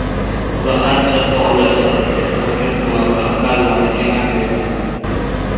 Bola ancha faollashadi, serharakat bo‘ladi, ag‘dariladi, emaklaydi.